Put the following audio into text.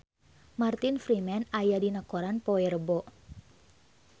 Martin Freeman aya dina koran poe Rebo